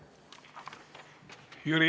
Aitäh!